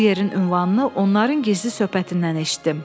Bu yerin ünvanını onların gizli söhbətindən eşitdim.